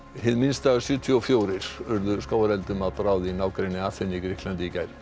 Hið minnsta sjötíu og fjórir urðu skógareldum að bráð í nágrenni Aþenu í Grikklandi í gær